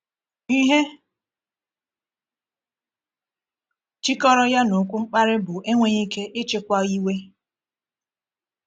Ihe jikọrọ ya na okwu mkparị bụ enweghị ike ịchịkwa iwe.